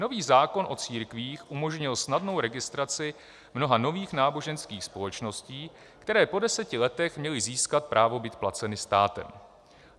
Nový zákon o církvích umožnil snadnou registraci mnoha nových náboženských společností, které po deseti letech měly získat právo být placeny státem.